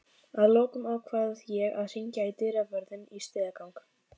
Að lokum ákveð ég að hringja í dyravörðinn í stigagang